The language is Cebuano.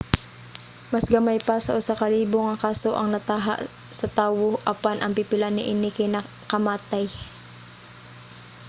mas gamay pa sa usa ka libo nga kaso ang nataho sa tawo apan ang pipila niini kay makamatay